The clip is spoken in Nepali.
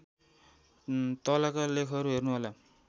तलका लेखहरू हेर्नुहोला